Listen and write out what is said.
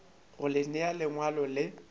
go le nea lengwalo le